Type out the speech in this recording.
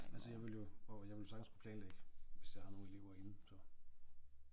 Altså jeg ville jo og jeg ville sagtens kunne planlægge hvis jeg har nogle elever inde så